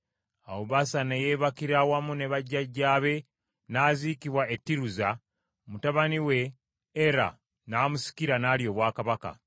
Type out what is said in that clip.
Awo Baasa ne yeebakira wamu ne bajjajjaabe n’aziikibwa e Tiruza, mutabani we Era n’amusikira, n’alya obwakabaka.